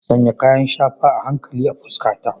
Sanya kayan shafa a hankali a fuskata.